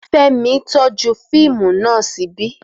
Fẹ́mi tọ́jú fíìmù naa ṣíbí